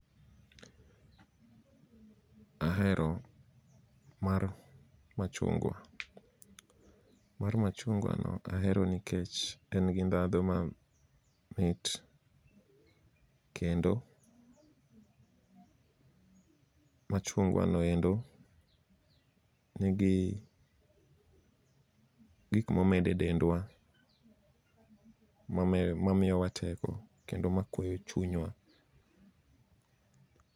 Ahero mar machungwa, mar machungwa no ahero nikech en gi ndhadho ma mit. Kendo, machungwa noendo nigi gik momede dendwa mame mamiyowa teko kendo makweyo chunywa.